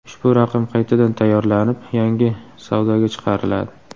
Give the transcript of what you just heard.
Ushbu raqam qaytadan tayyorlanib, yangi savdoga chiqariladi.